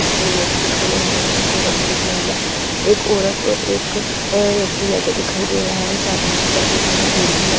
मुझे दो व्यक्ति खड़े हुए एक औरत और एक महिला एक औरत और एक व्यक्ति जाते दिखाई दे रहा है। सामने की तरफ एक हरा पेड़ भी लग --